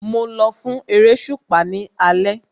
Mo lọ fún eréṣùpá ní alẹ́